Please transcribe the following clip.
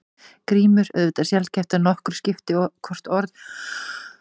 GRÍMUR: Auðvitað er sjaldgæft að nokkru skipti hvort orð berast mánuði fyrr eða seinna.